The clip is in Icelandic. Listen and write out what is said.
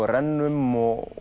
rennum